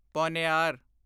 Ponnaiyar